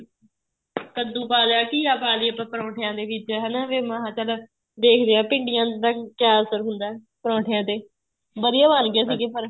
ਕੱਦੂ ਪਾ ਲਿਆ ਘੀਆ ਪਾ ਲਈਏ ਆਪਾਂ ਪਰੋਠੇ ਦੀਆਂ ਵਿੱਚ ਹੈਨਾ ਮਹਾ ਚੱਲ ਦੇਖਦੇ ਹਾਂ ਭਿੰਡੀਆਂ ਦਾ ਕਿਹਾ ਅਸਰ ਹੁੰਦਾ ਪਰੋਠਿਆਂ ਤੇ ਵਧੀਆ ਬਣ ਗਏ ਸੀਗੇ ਪਰ